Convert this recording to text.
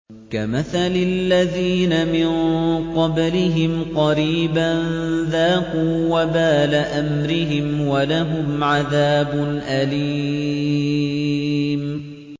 كَمَثَلِ الَّذِينَ مِن قَبْلِهِمْ قَرِيبًا ۖ ذَاقُوا وَبَالَ أَمْرِهِمْ وَلَهُمْ عَذَابٌ أَلِيمٌ